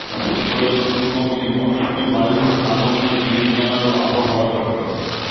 উত্তর ও দক্ষিণবঙ্গে মৌসুমী বায়ুর আগমনের দিন জানাল আবহাওয়া দফতর